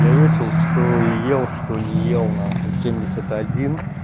я весел что ел что не ел нахуй в семьдесят один